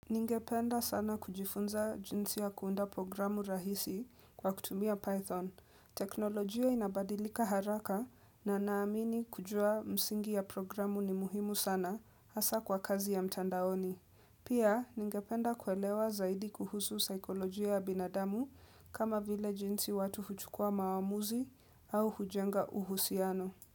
Ningependa sana kujifunza jinsi ya kuunda programu rahisi kwa kutumia Python. Teknolojia inabadilika haraka na naamini kujua msingi ya programu ni muhimu sana hasa kwa kazi ya mtandaoni. Pia, ningependa kuelewa zaidi kuhusu saikolojia ya binadamu kama vile jinsi watu huchukua mawamuzi au hujenga uhusiano.